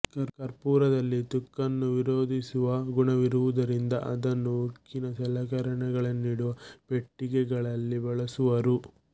ಕರ್ಪೂರದಲ್ಲಿ ತುಕ್ಕನ್ನು ವಿರೋಧಿಸುವ ಗುಣವಿರುವುದರಿಂದ ಅದನ್ನು ಉಕ್ಕಿನ ಸಲಕರಣೆಗಳನ್ನಿಡುವ ಪೆಟ್ಟಿಗೆಗಳಲ್ಲಿ ಬಳಸುವರು